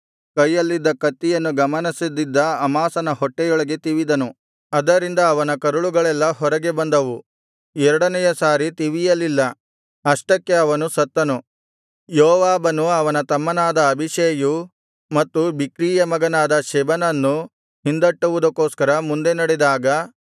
ಕೈಯಲ್ಲಿದ್ದ ಕತ್ತಿಯನ್ನು ಗಮನಿಸದಿದ್ದ ಅಮಾಸನ ಹೊಟ್ಟೆಯೊಳಗೆ ತಿವಿದನು ಅದರಿಂದ ಅವನ ಕರಳುಗಳೆಲ್ಲಾ ಹೊರಗೆ ಬಂದವು ಎರಡನೆಯ ಸಾರಿ ತಿವಿಯಲಿಲ್ಲ ಅಷ್ಟಕ್ಕೆ ಅವನು ಸತ್ತನು ಯೋವಾಬನೂ ಅವನ ತಮ್ಮನಾದ ಅಬೀಷೈಯೂ ಮತ್ತು ಬಿಕ್ರೀಯ ಮಗನಾದ ಶೆಬನನ್ನು ಹಿಂದಟ್ಟುವುದಕ್ಕೋಸ್ಕರ ಮುಂದೆ ನಡೆದಾಗ